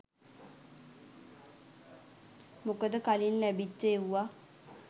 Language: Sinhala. මොකද කලින් ලැබිච්ච එව්වා